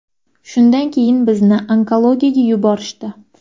Shundan keyin bizni onkologiyaga yuborishdi.